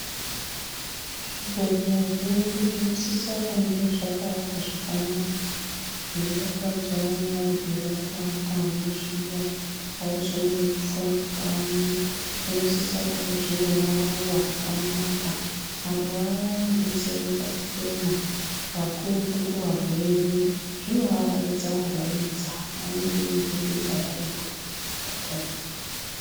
Zvibhedhleya zvedu zvinosisa kunge zvakaakwa zvakanaka zvinodakadzawo nearwere akaatemwo zviya avazonyanyi kufunga kanyi vanosisa kunga zvine maruwa akanaka maruwa aya anodetseredza kufema kakurutu kuarwere zvino araidza araidza vanenge veimbodemba varipo pachipatarapo.